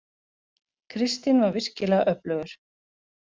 Kristinn var virkilega öflugur.